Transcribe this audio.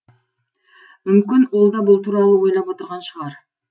мүмкін ол да бұл туралы ойлап отырған шығар